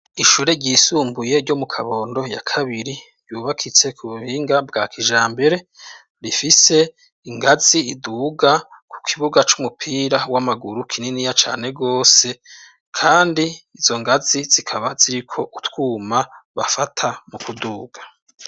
Ishure ryisumbuye ryo mu Kabondo ya kabiri. Yubakitse ku buhinga bwa kijambere, rifise ingazi iduga ku kibuga c'umupira w'amaguru kininiya cane rwose. Kandi izo ngazi zikaba ziriko utwuma bafata mu kuduga.